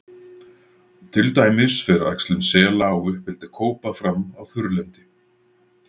til dæmis fer æxlun sela og uppeldi kópa fram á þurrlendi